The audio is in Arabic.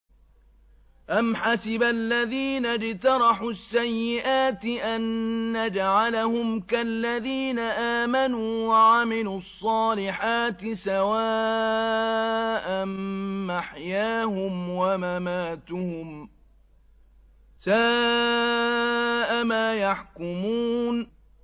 أَمْ حَسِبَ الَّذِينَ اجْتَرَحُوا السَّيِّئَاتِ أَن نَّجْعَلَهُمْ كَالَّذِينَ آمَنُوا وَعَمِلُوا الصَّالِحَاتِ سَوَاءً مَّحْيَاهُمْ وَمَمَاتُهُمْ ۚ سَاءَ مَا يَحْكُمُونَ